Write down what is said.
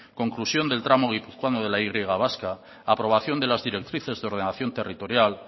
conclusión del tramo guipuzcoano de la y vasca aprobación de las directrices de ordenación territorial